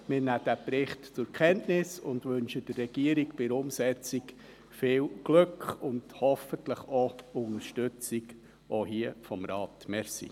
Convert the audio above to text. Wir nehmen diesen Bericht zur Kenntnis und wünschen der Regierung bei der Umsetzung viel Glück und hoffentlich auch hier Unterstützung des Rates.